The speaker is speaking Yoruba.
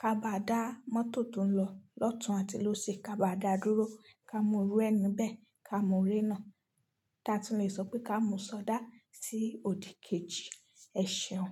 Ka bá dà mọ́tò tó ń lọ lọ́tun àti lóṣì, ka bá dà dúró, ká mú rú ẹ ni bẹ̀, ká mú ré náà. Taàtún lè sọ pé ká mú ṣọdá sí òdì kejì, ẹ̀ṣeun.